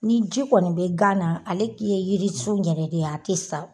Ni ji kɔni bɛ gan na ale k'i ye yiri sun yɛrɛ de a tɛ sa.